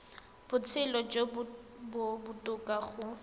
botshelo jo bo botoka go